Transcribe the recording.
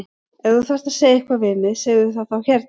Ef þú þarft að segja eitthvað við mig segðu það þá hérna!